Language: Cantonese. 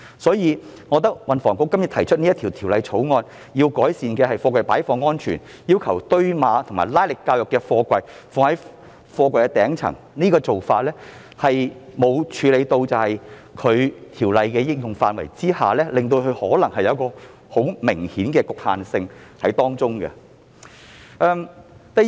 所以，我認為運輸及房屋局提出《條例草案》，希望改善貨櫃的擺放安全，並要求堆碼或推拉能力較弱的貨櫃放置於堆放貨櫃頂層的做法，其實未有處理到《條例》適用範圍可能存在的明顯局限性。